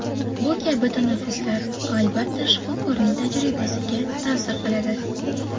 Bu kabi tanaffuslar, albatta, shifokorning tajribasiga ta’sir qiladi.